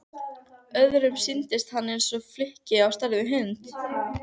Öðrum sýndist hann eins og flykki á stærð við hund.